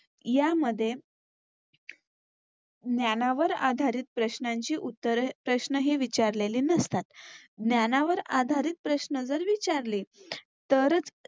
यामध्ये ज्ञानानावर आधारित प्रश्नांची उत्तरे प्रश्नही विचारलेले नसतात. ज्ञानानावर आधारित प्रश्न जर विचारले तरच